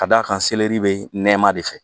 Ka d'a kan seleri bɛ nɛma de fɛ